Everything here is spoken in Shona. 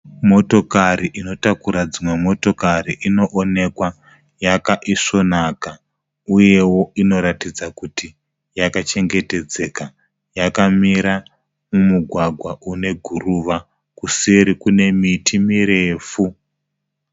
Motokari inotakura dzimwe motokari. Inoonekwa yakaisvonaka uyewo inoratidza kuti yakachengetedzeka. Yakamira mumugwagwa une guruva. Kuseri kune miti mirefu.